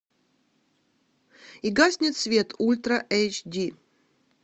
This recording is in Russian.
и гаснет свет ультра эйч ди